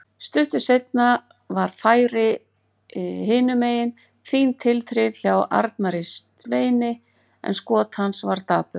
Stuttu seinna var færi hinumegin, fín tilþrif hjá Arnari Sveini en skot hans var dapurt.